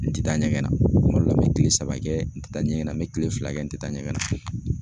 N tɛ taa ɲɛgɛn na, kuma dɔ la n bɛ kile saba kɛ n tɛ taa ɲɛgɛn na , n bɛ kile fila kɛ n tɛ taa ɲɛgɛn na .